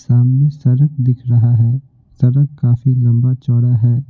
सामने सड़क दिख रहा है सड़क काफी लंबा चौड़ा है।